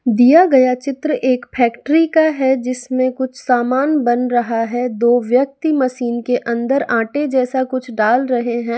दिया गया चित्र एक फैक्ट्री का है जिसमें कुछ सामान बन रहा है दो व्यक्ति मशीन के अंदर आटे जैसा कुछ डाल रहे हैं।